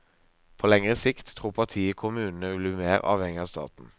På lengre sikt tror partiet kommunene vil bli mer avhengig av staten.